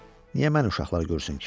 Niyə məni uşaqlar görsün ki?